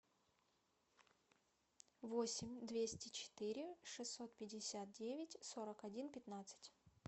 восемь двести четыре шестьсот пятьдесят девять сорок один пятнадцать